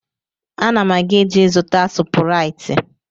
Ana m eje ịzụta sụpụrịtị